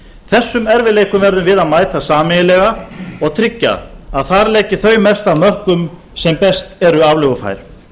þessum erfiðleikum verðum við að mæta sameiginlega og tryggja að þar leggi þau mest af mörkum sem best eru aflögufær